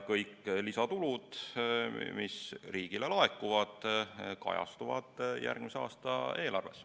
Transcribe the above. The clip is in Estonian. Kõik lisatulud, mis riigile laekuvad, kajastuvad järgmise aasta eelarves.